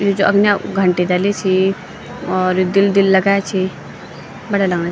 यी जू अगनै उ घंटी डली सी और दिल दिल लगाया छी बड़या लगणा।